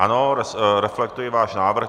Ano, reflektuji váš návrh.